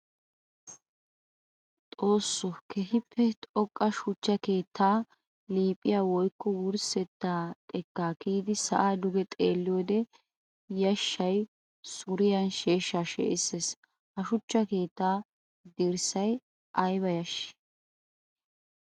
Xooso! Keehippe xoqqa shuchcha keetta liiphiya woykko wurssetta xekka kiyiddi sa'a duge xeelliyode yashay suriyan sheeshsha shee'isees. Ha suchcha keetta dirssay aybba yashshi!